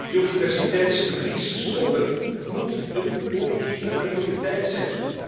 Biodiversiteitsverlies stoppen moet een politieke prioriteit zijn.